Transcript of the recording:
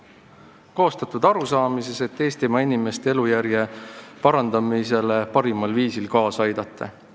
See on koostatud eesmärgiga Eestimaa inimeste elujärje parandamisele parimal viisil kaasa aidata.